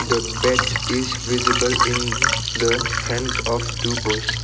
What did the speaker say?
The bats is visible in the hands of two boys.